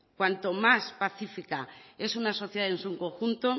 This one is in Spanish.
cuanto más pacifica es una sociedad en su conjunto